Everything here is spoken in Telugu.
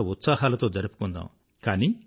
ఉల్లాస ఉత్సాహాలతో జరుపుకుందాం